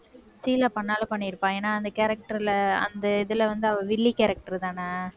ஷீலா பண்ணாலும் பண்ணிருப்பா ஏன்னா அந்த character ல அந்த இதுல வந்து அவள் வில்லி character தானே?